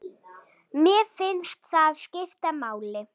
Mér finnst það skipta máli.